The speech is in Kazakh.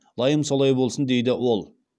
лайым солай болсын дейді ол